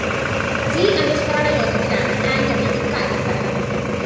G അനുസ്മരണ യോഗത്തിലാണ് ആന്റണി ഇക്കാര്യം പറഞ്ഞത്